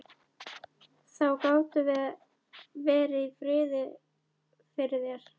Þá gátum við verið í friði fyrir þér!